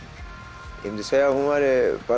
ég myndi segja að hún væri